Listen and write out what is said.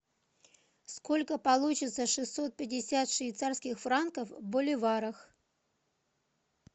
сколько получится шестьсот пятьдесят швейцарских франков в боливарах